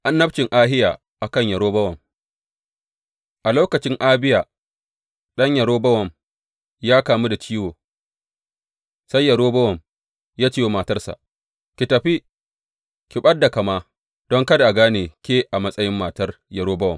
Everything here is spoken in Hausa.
Annabcin Ahiya a kan Yerobowam A lokacin Abiya, ɗan Yerobowam ya kamu da ciwo, sai Yerobowam ya ce wa matarsa, Ki tafi, ki ɓad da kama, don kada a gane ke a matsayin matar Yerobowam.